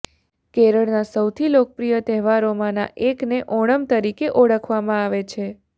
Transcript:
કેરળના સૌથી લોકપ્રિય તહેવારોમાંના એકને ઓણમ તરીકે ઓળખવામાં આવે છે